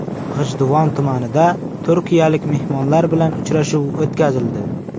G‘ijduvon tumanida turkiyalik mehmonlar bilan uchrashuv o‘tkazildi.